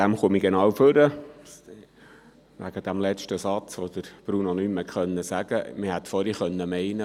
Ich komme genau wegen des letzten Satzes, den Bruno Vanoni nicht mehr hat sagen können, hier ans Mikrofon.